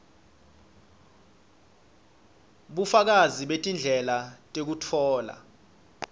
bufakazi betindlela tekutfola